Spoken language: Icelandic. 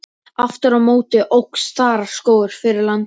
Aftur á móti óx þaraskógur fyrir landi.